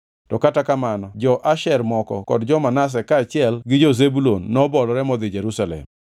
To kata kamano jo-Asher moko kod jo-Manase kaachiel gi jo-Zebulun nobolore modhi Jerusalem.